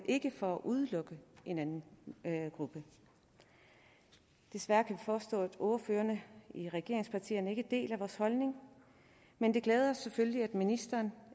ikke for at udelukke en anden gruppe desværre kan vi forstå at ordførerne i regeringspartierne ikke deler vores holdning men det glæder os selvfølgelig at ministeren